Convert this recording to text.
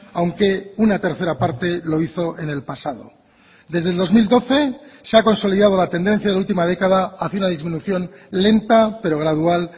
aunque una tercera parte lo hizo en el pasado desde el dos mil doce se ha consolidado la tendencia de la última década hacia una disminución lenta pero gradual